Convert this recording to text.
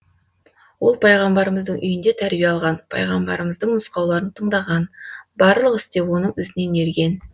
ол пайғамбарымыздың үйінде тәрбие алған пайғамбарымыздың нұсқауларын тындаған барлық істе оның ізінен ерген